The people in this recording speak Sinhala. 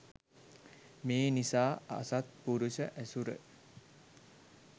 මේ නිසා අසත්පුරුෂ ඇසුර